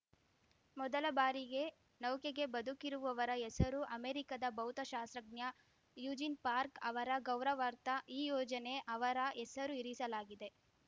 ಮೊದಲಬಾರಿಗೆ ನೌಕೆಗೆ ಬದುಕಿರುವವರ ಹೆಸರು ಅಮೆರಿಕದ ಭೌತಶಾಸ್ತ್ರಜ್ಞ ಯೂಜಿನ್‌ ಪಾರ್ಕ್ ಅವರ ಗೌರವಾರ್ಥ ಈ ಯೋಜನೆಗೆ ಅವರ ಹೆಸರು ಇರಿಸಲಾಗಿದೆ